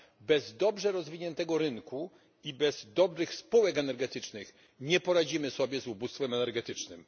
Bez dobrze rozwiniętego rynku i bez dobrych spółek energetycznych nie poradzimy sobie z ubóstwem energetycznym.